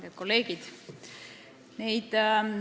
Head kolleegid!